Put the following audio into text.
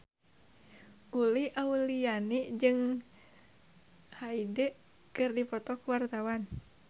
Uli Auliani jeung Hyde keur dipoto ku wartawan